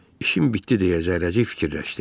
İşin bitdi deyə zərrəcik fikirləşdi.